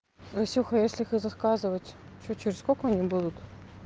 настюха если их и заказывать что через сколько они будут